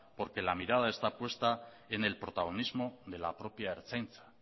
porque la mirada está puesta en el protagonismo de la propia ertzaintza